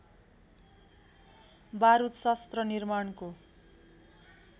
बारुद शस्त्र निमार्णको